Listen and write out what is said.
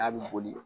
N'a bɛ boli